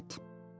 Get yat!